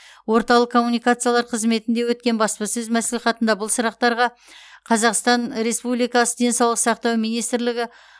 орталық коммуникациялар қызметінде өткен баспасөз мәслихатында бұл сұрақтарға қазақстан республикасы денсаулық сақтау министрлігі